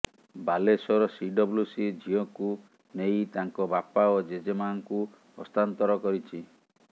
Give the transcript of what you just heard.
Balasore CWC ଝିଅକୁ ନେଇ ତାଙ୍କ ବାପା ଓ ଜେଜେମାଆଙ୍କୁ ହସ୍ତାନ୍ତର କରିଛି